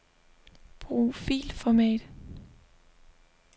Brug filformat.